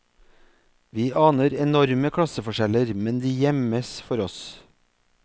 Vi aner enorme klasseforskjeller, men de gjemmes for oss.